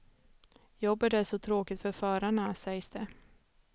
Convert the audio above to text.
Jobbet är så tråkigt för förarna, sägs det.